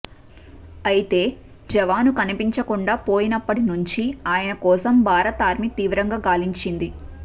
అయితే జవాను కనిపించకుండా పోయినప్పటి నుంచి ఆయన కోసం భారత ఆర్మీ తీవ్రంగా గాలించింది